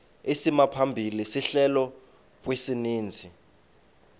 isimaphambili sehlelo kwisininzi